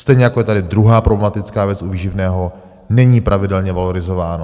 Stejně jako je tady druhá problematická věc u výživného, není pravidelně valorizováno.